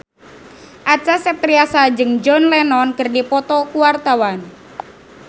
Acha Septriasa jeung John Lennon keur dipoto ku wartawan